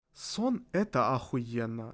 сон это ахуенно